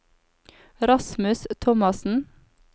Rasmus Thomassen